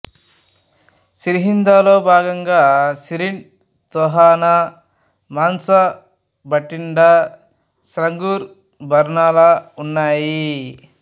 సిర్హింద్ లో భాగంగా సిరిండ్ తొహనా మాన్సా భటిండా సంగ్రూర్ బర్నాలా ఉన్నాయి